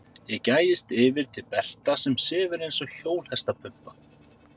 Ég gægist yfir til Berta sem sefur eins og hjólhestapumpa.